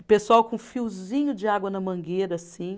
O pessoal com um fiozinho de água na mangueira, assim.